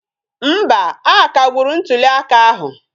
Mba, a kagburu ntụli aka ahụ